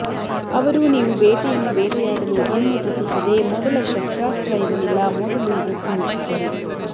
ಅವರು ನೀವು ಬೇಟೆಯನ್ನು ಬೇಟೆಯಾಡಲು ಅನುಮತಿಸುತ್ತದೆ ಮೊದಲ ಶಸ್ತ್ರಾಸ್ತ್ರ ಇರಲಿಲ್ಲ ಮೊದಲು ಇದು ತಿನ್ನುತ್ತಿದ್ದರು